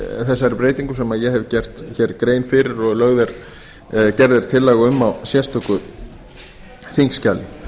þessari breytingu sem ég hef gert hér grein fyrir og gerð er tillaga um í sérstöku þingskjali